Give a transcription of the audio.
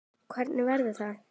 Hvernig verður það?